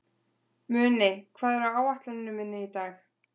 Muni, hvað er á áætluninni minni í dag?